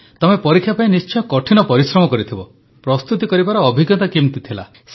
ତମେ ପରୀକ୍ଷା ପାଇଁ ନିଶ୍ଚୟ କଠିନ ପରିଶ୍ରମ କରିଥିବ ପ୍ରସ୍ତୁତି କରିବାର ଅଭିଜ୍ଞତା କିପରି ଥିଲା